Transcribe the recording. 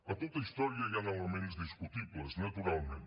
a tota història hi han elements discutibles naturalment